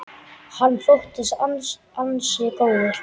Hann þóttist ansi góður.